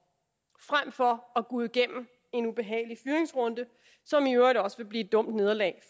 frem for at gå igennem en ubehagelig fyringsrunde som i øvrigt også vil blive et dumt nederlag